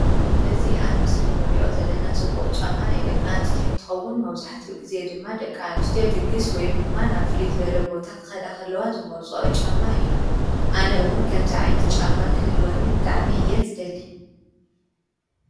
እዚ አብ ምስሊ እንሪኦ ዘለና ፅቡቅ ጫማ ናይ ደቂ አንስትዮ እንትኸውን መብዛሕትኡ ግዘ ድማ ደቂ አንስትዮ ድግስ ወይ ድማ ናብ ፉልይ ዝበለ ቦታ ክኸዳ ከለዋ ዝመርፅኦ ጫማ እዩ። አነ እውን ከምዚ ዓይነት ጫማ ክህልወኒ ብጣዕሚ እየ ዝደሊ።